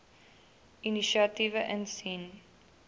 inisiatiewe insien